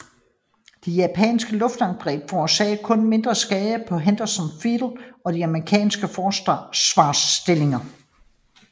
De japanske luftangreb forårsagede kun mindre skader på Henderson Field og de amerikanske forsvarsstillinger